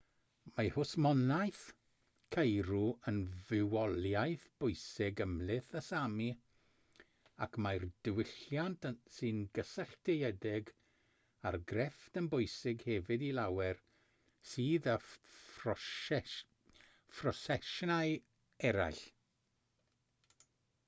mae hwsmonaeth ceirw yn fywoliaeth bwysig ymhlith y sámi ac mae'r diwylliant sy'n gysylltiedig â'r grefft yn bwysig hefyd i lawer sydd â phroffesiynau eraill